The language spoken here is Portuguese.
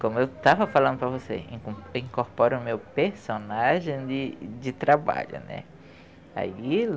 Como eu estava falando para você, inco incorporo o meu personagem de de trabalho, né. Aí